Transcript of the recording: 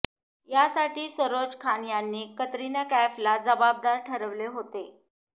यासाठी सरोज खान यांनी कतरिना कैफला जबाबदार ठरविले होते